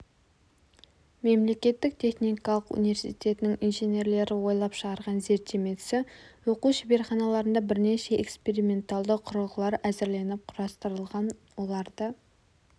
мемлекеттік техникалық университетінің инженерлері ойлап шығарған зерттемесі оқу шеберханаларында бірнеше эксперименталды құрылғылар әзірленіп құрастырылған оларды